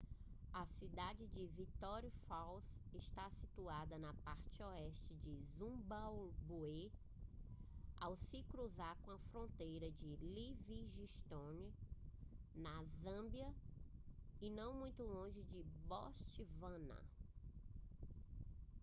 a cidade de victoria falls está situada na parte oeste do zimbábue ao se cruzar a fronteira de livingstone na zâmbia e não muito longe de botswana